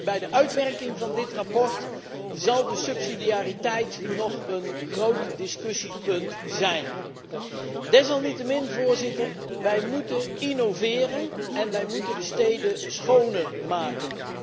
Bij de uitwerking van dit verslag zal de subsidiariteit nog een groot discussiepunt zijn. Desalniettemin, Voorzitter, wij moeten innoveren en wij moeten de steden schoner maken.